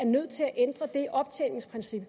nødt til at ændre det optjeningsprincip